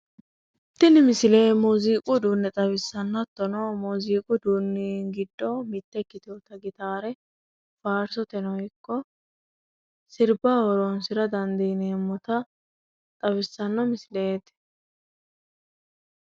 tini misile muziiqu uduunne xawissanno hattono muziiqu uduunni giddo mitte ikkiteewota gitaare faarsoteno ikko sirbaho horonsira dandiineemmota xawissanno misileeti.